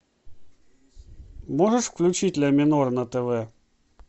можешь включить ля минор на тв